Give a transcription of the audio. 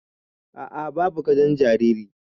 Aa, babu gadon jaririn